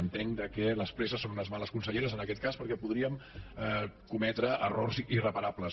entenc que les presses són unes males conselleres en aquest cas perquè podríem cometre errors irreparables